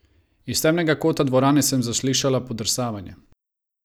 Iz temnega kota dvorane sem zaslišala podrsavanje.